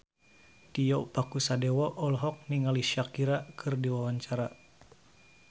Tio Pakusadewo olohok ningali Shakira keur diwawancara